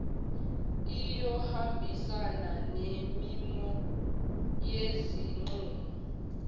iyohambisana nemimo yezinqumo